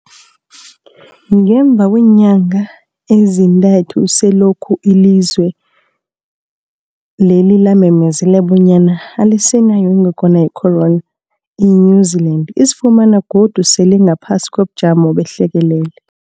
Ngemva kweenyanga ezintathu selokhu ilizwe lela lamemezela bonyana alisenayo ingogwana ye-corona, i-New-Zealand izifumana godu sele ingaphasi kobujamo behlekelele.